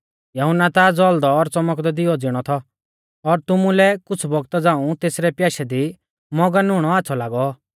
यहुन्ना ता ज़ौल़दौ और च़मकदै दिवै ज़िणौ थौ और तुमुलै कुछ़ बौगता झ़ांऊ तेसरै प्याशै दी मौगन हुणौ आच़्छ़ौ लागौ